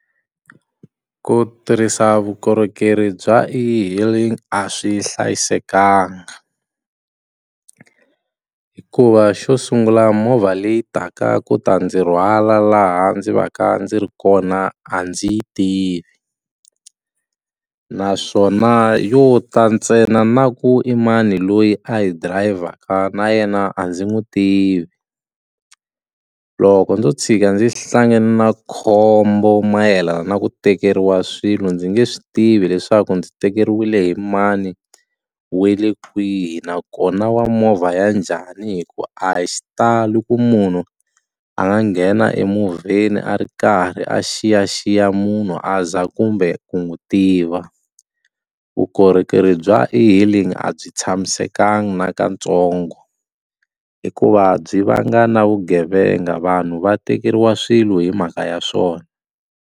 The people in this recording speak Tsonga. Ku tirhisa vukorhokeri bya e-Hailing a swi hlayisekanga hikuva xo sungula movha leyi taka ku ta ndzi rhwala laha ndzi va ka ndzi ri kona a ndzi yi tivi naswona yo ta ntsena na ku imani loyi a yi dirayivhaka na yena a ndzi n'wi tivi, loko ndzo tshika ndzi hlangane na khombo mayelana na ku tekeriwa swilo ndzi nge swi tivi leswaku ndzi tekeriwile hi mani we le kwihi nakona wa movha ya njhani hikuva a hi xitalo ku munhu a nga nghena emovheni a ri karhi a xiyaxiya munhu a za kumbe ku n'wi tiva vukorhokeri bya e-Hailing a byi tshamisekanga nakatsongo hikuva byi vanga na vugevenga vanhu va tekeriwa swilo hi mhaka ya swona.